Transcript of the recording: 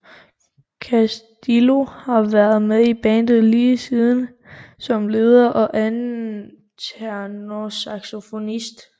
Castillo har været med i bandet lige siden som leder og anden tenorsaxofonist